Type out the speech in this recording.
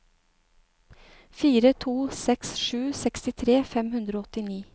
fire to seks sju sekstitre fem hundre og åttini